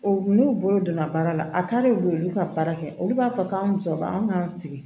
N'u bolo donna baara la a k'ale don olu ka baara kɛ olu b'a fɔ k'an muso b'an k'an sigi